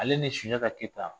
Ale ni sunjata keyita